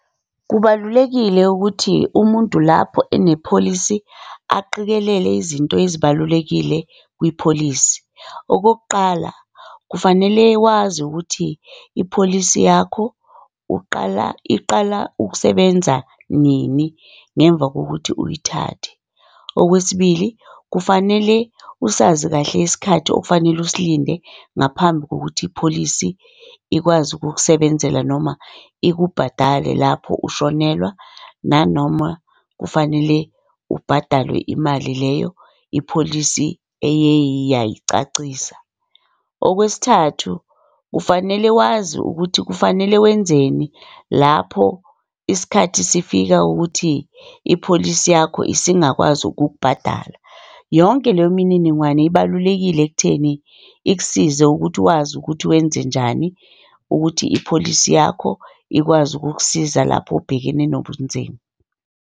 Kubalulekile ukuthi umuntu lapho enepholisi aqikelele izinto ezibalulekile kwipholisi. Okokuqala, kufanele wazi ukuthi ipholisi yakho uqala iqala ukusebenza nini, ngemva kokuthi uyithathe. Okwesibili, kufanele usazi kahle isikhathi okufanele usilinde ngaphambi kokuthi ipholisi ikwazi ukukusebenzela noma ikubhadale lapho ushonelwa nanoma kufanele ubhadalwe imali leyo ipholisi eyeye yayicacisa. Okwesithathu, kufanele wazi ukuthi kufanele wenzeni lapho isikhathi sifika ukuthi ipholisi yakho isingakwazi ukukubhadala. Yonke leyo mininingwane ibalulekile ekutheni ikusize ukuthi wazi ukuthi wenzenjani ukuthi ipholisi yakho ikwazi ukukusiza lapho ubhekene nobunzima.